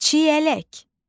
Çiyələk.